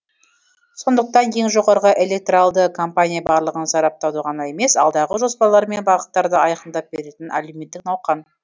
сондықтан ең жоғарғы электоралды кампания барлығын сараптауды ғана емес алдағы жоспарлар мен бағыттарды айқындап беретін әлеуметтік науқан